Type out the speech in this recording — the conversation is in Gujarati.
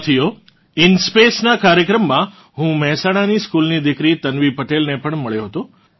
સાથીઓ ઇન્સ્પેસ નાં કાર્યક્રમમાં હું મેહસાણાની સ્કૂલ સ્ટુડન્ટ દિકરી તન્વી પટેલને પણ મળ્યો હતો